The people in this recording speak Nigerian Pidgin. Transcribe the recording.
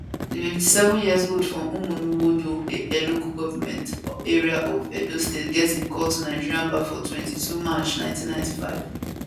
di 57yearold from uhunmwode local government area of edo state get im call to nigerian bar for 22 march 1995